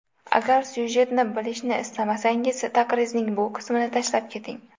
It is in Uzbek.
Agar syujetni bilishni istamasangiz, taqrizning shu qismini tashlab keting.